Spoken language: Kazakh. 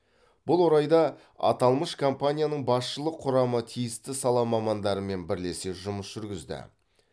бұл орайда аталмыш компанияның басшылық құрамы тиісті сала мамандарымен бірлесе жұмыс жүргізді